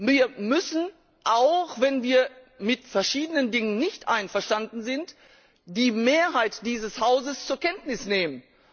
Wir müssen, auch wenn wir mit verschiedenen Dingen nicht einverstanden sind, die Mehrheit dieses Hauses zur Kenntnis nehmen.